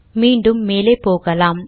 மீண்டும் மேலே போகலாம்